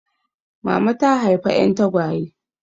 Mama ta haifa 'yan tagwaye.